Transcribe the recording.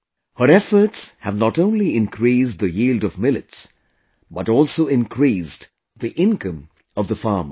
Her efforts have not only increased the yield of millets, but also increased the income of the farmers